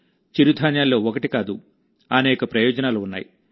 చిరుధాన్యాల్లో ఒకటి కాదుఅనేక ప్రయోజనాలు ఉన్నాయి